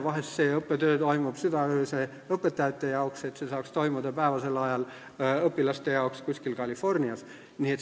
Vahel toimub õppetöö südaöösel õpetajate jaoks, et see saaks toimuda päevasel ajal õpilaste jaoks kuskil Californias.